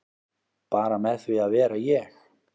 Bara með því að vera ég